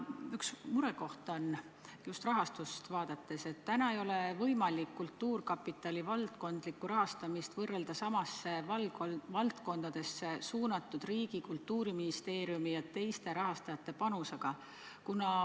Üks murekoht on, just rahastust vaadates, et täna ei ole võimalik kultuurkapitali valdkondlikku rahastamist võrrelda samadesse valdkondadesse suunatud riigi, sh Kultuuriministeeriumi ja teiste rahastajate panusega.